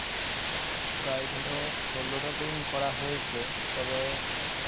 প্রায় ধরো ষোলোটা team করা হয়েছে তবে